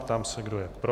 Ptám se, kdo je pro.